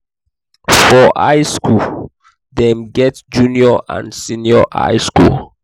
for high school dem get junior and senior high school